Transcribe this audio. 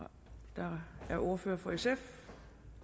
der er ordfører for sf